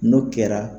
N'o kɛra